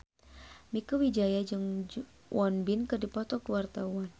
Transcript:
Mieke Wijaya jeung Won Bin keur dipoto ku wartawan